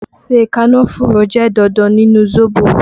Ṣé kànnáfùrù jẹ́ dandan nínú zobo?